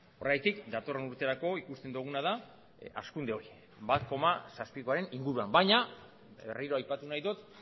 horregatik datorren urterako ikusten duguna da hazkunde hori bat koma zazpikoaren inguruan baina berriro aipatu nahi dut